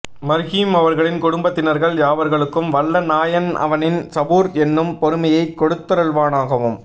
மர்ஹும் அவர்களின் குடும்பத்தினர்கள் யாவர்களுக்கும் வல்ல நாயன் அவனின் சபூர் என்னும் பொறுமையை கொடுத்தருள்வானாகவும்